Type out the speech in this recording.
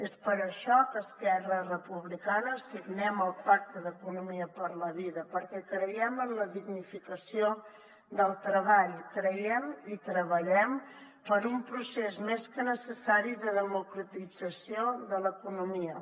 és per això que esquerra republicana signem el pacte d’economia per la vida perquè creiem en la dignificació del treball creiem i treballem per un procés més que necessari de democratització de l’economia